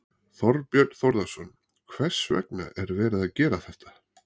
Þorbjörn Þórðarson: Hvers vegna er verið að gera þetta?